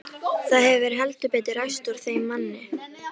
Það hefur heldur betur ræst úr þeim manni!